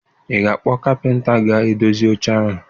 Ị ga-akpọta kapịnta ga-edozi oche ahụ?